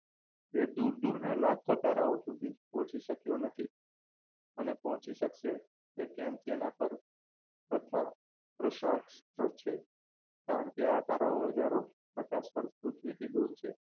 તે દૂર દૂર ના લાખો તારાઓ સુધી પહોંચી શક્યો નથી અને પહોંચી શકશે તે કેમ તેના પર પ્રથમ પ્રશ્ન છે કારણ કે આ તારા હજારો પ્રકાશ વર્ષ પૃથ્વીથી દૂર છે